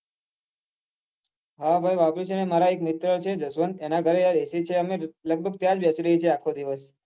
હા ભાઈ વાપરું ચુ ને મારા એક મિત્ર છે ને જસવંત એના ઘરે યાર ac છે અમે ત્યાં જ બેસી રહીએ છીએ આખો દિવસ